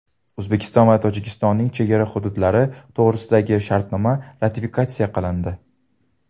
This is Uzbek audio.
O‘zbekiston va Tojikistonning chegara hududlari to‘g‘risidagi shartnoma ratifikatsiya qilindi.